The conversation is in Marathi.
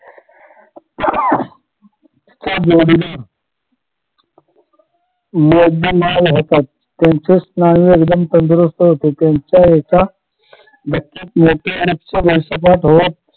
त्यांचे स्नायू एकदम तंदरुस्थ होते त्यांच्या एका